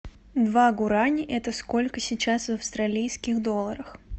два гуарани это сколько сейчас в австралийских долларах